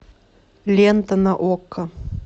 лента на окко